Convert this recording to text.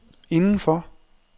indenfor